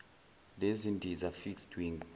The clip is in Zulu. nendiza fixed wing